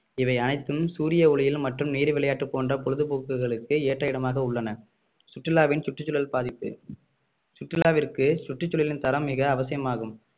இவை அனைத்தும் சூரிய குளியில் மற்றும் நீர் விளையாட்டு போன்ற பொழுதுபோக்குகளுக்கு ஏற்ற இடமாக உள்ளன சுற்றுலாவின் சுற்றுச்சூழல் பாதிப்பு சுற்றுலாவிற்கு சுற்றுச்சூழலின் தரம் மிக அவசியமாகும்